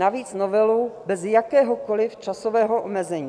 Navíc novelu bez jakéhokoli časového omezení.